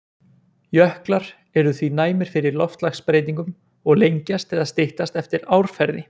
Jöklar eru því næmir fyrir loftslagsbreytingum og lengjast eða styttast eftir árferði.